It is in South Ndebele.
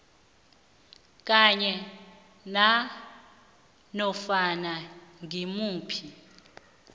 kanye nanofana ngimuphi